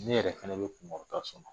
Ne yɛrɛ fɛnɛ bɛ kunkɔrɔta sɔrɔ.